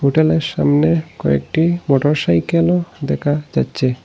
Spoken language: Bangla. হোটেলের সামনে কয়েকটি মোটর সাইকেলও দেকা যাচ্চে।